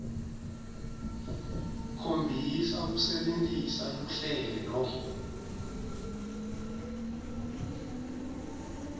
khombisa kusebentisa luhlelo